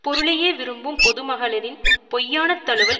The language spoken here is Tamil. பொருளையே விரும்பும் பொது மகளிரின் பொய்யானத் தழுவல்